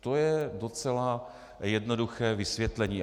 To je docela jednoduché vysvětlení.